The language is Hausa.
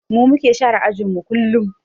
Mu muke share ajinmu kullum